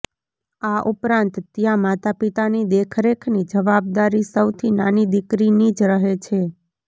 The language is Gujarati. આ ઉપરાંત ત્યાં માતાપિતાની દેખરેખની જવાબદારી સૌથી નાની દીકરીની જ રહે છે